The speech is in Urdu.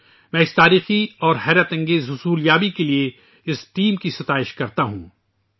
میں اس ٹیم کی اس تاریخی اور بے مثال کامیابی کے لیے خراج تحسین پیش کرتا ہوں